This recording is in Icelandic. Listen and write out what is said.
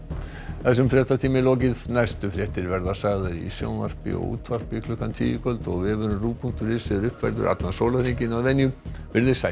þessum fréttatíma er lokið næstu fréttir verða sagðar í sjónvarpi og útvarpi klukkan tíu í kvöld og vefurinn punktur is er uppfærður allan sólarhringinn verið þið sæl